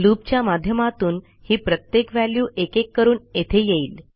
लूपच्या माध्यमातून ही प्रत्येक व्हॅल्यू एकेक करून येथे येईल